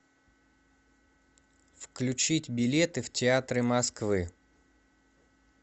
включить билеты в театры москвы